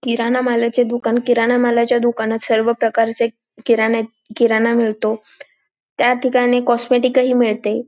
किराणा मालाचे दुकान किराणा मालाच्या दुकानात सर्व प्रकारचे किराणे किराणा मिळतो त्या ठिकाणी कॉस्मॅटिक ही मिळते.